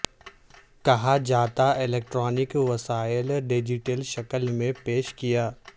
کہا جاتا الیکٹرانک وسائل ڈیجیٹل شکل میں پیش کیا